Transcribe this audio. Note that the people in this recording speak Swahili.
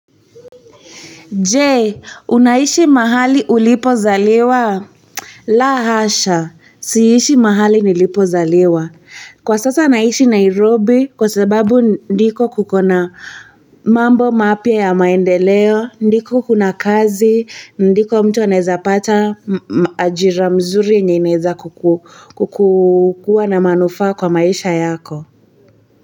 Je, unaishi mahali ulipo zaliwa? La hasha siishi mahali nilipo zaliwa, kwa sasa naishi Nairobi kwa sababu ndiko kukona mambo mapya ya maendeleo, ndiko kuna kazi ndiko mtu anaweza pata ajira mzuri yenye inaweza kukua na manufaa kwa maisha yako.